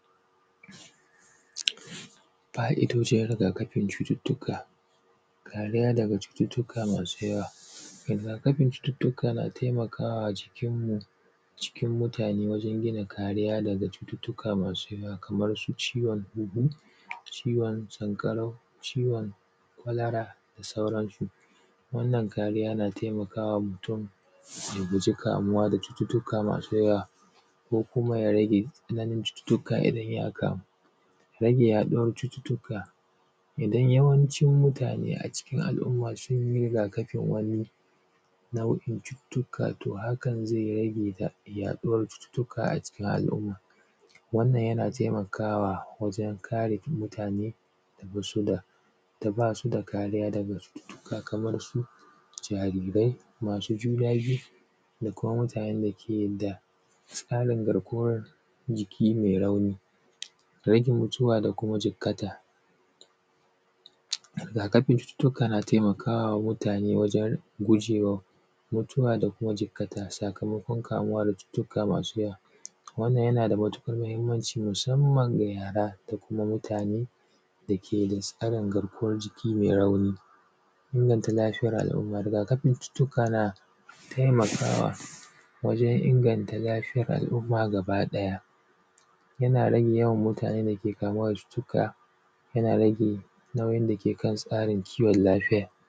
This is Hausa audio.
Fa’idojin riga kafin cututtuka. Kariya daga cututtuka masu yawa. Rigakafin cututtuka na taimakawa cikinmu cikin mutane wajen gina kariya daga cututtuka masu yawa kaman su ciwon um ciwon sankarau, ciwon kwalara, da sauran su. Wannan kariya na taimakawa mutun ya guji kamuwa da cututtuka masu yawa ko kuma ya rage tsananin cututtuka ya rage haka. Rage yaduwan cututtuka idan yawancin mutane a cikin al umma sunyi rigakafin wani nau’in cututtuka to hakan zai rage ya yaduwar cututtuka a cikin al umma wannan yana taimakawa wajen kare mutane da basu daa da basu da kariya daga cututtuka kamar su jarirai masu juna biyu da kuma mutanen dake da tsarin garguwar jiki mai rauni, rage mutuwa da kuma jikkata. Rigakafin cututtuka na taimakawa mutane wajen gujewa mutuwa da kuma jikkata sakamakon kamuwa da cututtuka masu yawa wannan yanada matukar mahimmanci musamman ga yara da kuma mutane dake da matsalar garkuwan jiki mai rauni. Inganta lafiyar al umma, rigakafin cututtuka na taimakawa wajen inganta lafiyan al umma gaba daya yana rage yawan mutanen dake kamuwa da cututtuka yana rage nauyin dake kan tsarin kiwon lafiya.